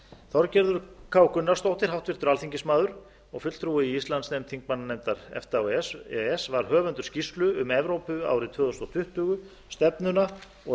þorgerður k gunnarsdóttir háttvirtur alþingismaður og fulltrúi í íslandsdeild þingmannanefndar efta og e e s var höfundur skýrslu um evrópa árið tvö þúsund tuttugu stefnuna og